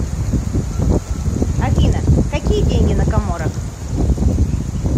афина какие деньги на коморах